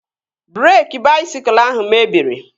Breeki baisikụl ahụ mebiri